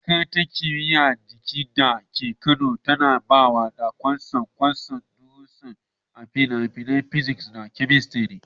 Makarantar Kimiyyar Jiki da ke Kano tana ba da kwasa-kwasan darussa a fannin physics da chemistry.